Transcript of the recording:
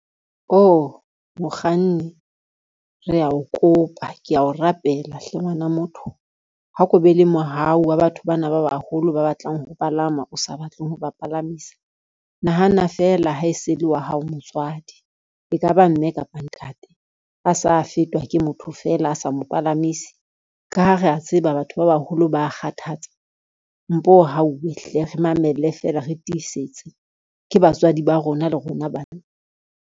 Oh mokganni re a o kopa, kea o rapela hle ngwana motho. Ha ko be le mohau wa batho bana ba baholo ba batlang ho palama o sa batleng ho ba palamisa. Nahana fela ha e se le wa hao motswadi, e ka ba mme kapa ntate a sa fetwa ke motho feela, a sa mo palamise ka ha re a tseba batho ba baholo ba kgathatsa, mpo hauwe hle re mamelle fela, re tiisetse ke batswadi ba rona le rona bana.